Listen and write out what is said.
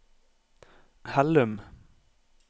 Hellum